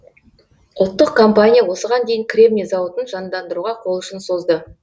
ұлттық компания осыған дейін кремний зауытын жандандыруға қол ұшын созды